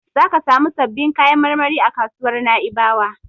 Zaka samu sabbin kayan marmari a kasuwar Na'ibawa.